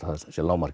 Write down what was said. lágmark